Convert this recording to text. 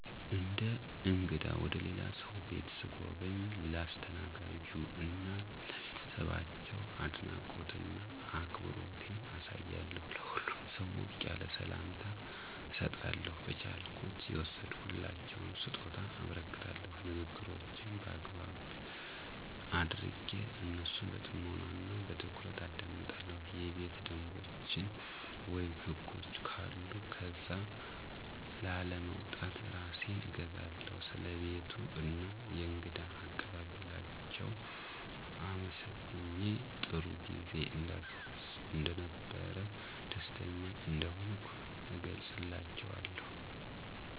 እንደ እንግዳ ወደ ልላ ሰው ቤት ሰጎበኝ ለአስተናጋጁ እና ለቤተሰባቸው አድናቆት እና አክብሮቴን አሳያለሁ። ለሁሉም ሰው ሞቅ ያለ ሰላምታ እሰጣለሁ፣ በቻልኩት የወሰድኩላቸውን ሰጦታ አበረክታለሁ፣ ንግግሮቼን በአግባብ አደረጌ እነሱን በፅሞና እና በትኩረት አደምጣለሁ፣ የቤት ደንቦችን ወይም ህጎች ካሉ ከዛ ላለመውጣት እራሴን እገዛለሁ። ስለ ቤቱ እና የእንግዳ አቀባበላችው አመሰግኘ ጥሩጊዜ እንደነበረ ደስተኛ እንደሆንኩ እገለፅላችዋለሁ።